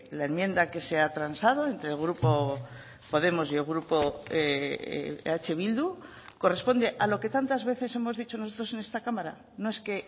la enmienda que se ha transado entre el grupo podemos y el grupo eh bildu corresponde a lo que tantas veces hemos dicho nosotros en esta cámara no es que